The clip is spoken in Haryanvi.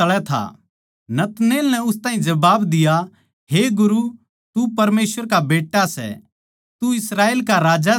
नतनएल नै उस ताहीं जबाब दिया हे गुरु तू परमेसवर का बेट्टा सै तू इस्राएल का राजा सै